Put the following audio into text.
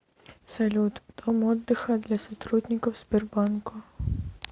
салют дом отдыха для сотрудников сбербанка